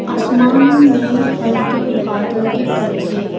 आसमान में हल्के बादल दिख रहे हैं।